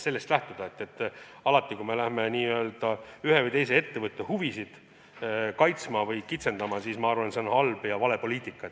Selles mõttes, et alati, kui me hakkame ühe või teise ettevõtte huvisid kaitsma või kitsendama, siis see on halb ja vale poliitika.